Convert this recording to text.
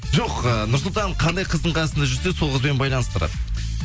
жоқ ы нұрсұлтан қандай қыздың қасында жүрсе сол қызбен байланыстырады